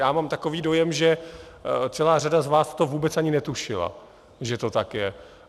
Já mám takový dojem, že celá řada z vás to vůbec ani netušila, že to tak je.